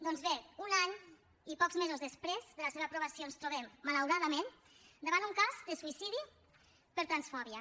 doncs bé un any i pocs mesos després de la seva aprovació ens trobem malauradament davant un cas de suïcidi per transfòbia